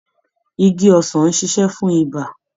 Igi ọsàn ń ṣiṣe fún ibà.